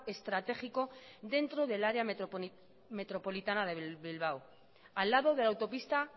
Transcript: estratégico dentro del área metropolitana de bilbao al lado de la autopista